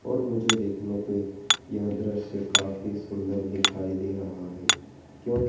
और मुझे देखने पे यह दृश्य काफ़ी सुंदर दिखाई दे रहा है क्योंकि--